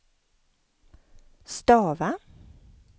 stava